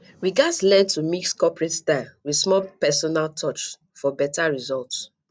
we gats learn to mix corporate style with small personal touch for beta result